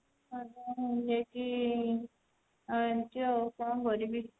ଆଣିଛୁ ଆଉ କଣ କରିବି